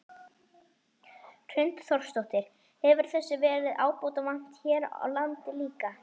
Hrund Þórsdóttir: Hefur þessu verið ábótavant hér á landi líka?